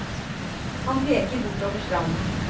Han peker bortover stranden.